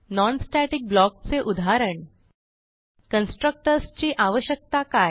non static block चे उदाहरण constructors ची आवश्यकता काय